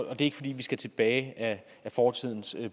er ikke fordi vi skal tilbage ad fortidens